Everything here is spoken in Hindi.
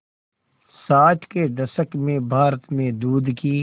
साठ के दशक में भारत में दूध की